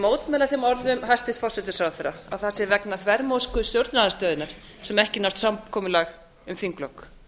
mótmæla þeim orðum hæstvirts forsætisráðherra að það sé vegna þvermóðsku stjórnarandstöðunnar sem ekki nást samkomulag um þinglok